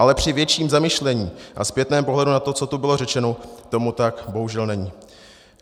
Ale při větším zamyšlení a zpětném pohledu na to, co tu bylo řečeno, tomu tak bohužel není.